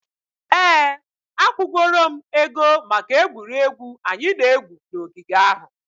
Ee, akwụgoro m ego maka egwuregwu anyị na-egwu n'ogige ahụ.